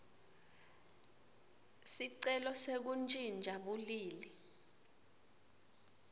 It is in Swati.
sicelo sekuntjintja bulili